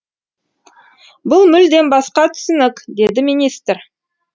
бұл мүлдем басқа түсінік деді министр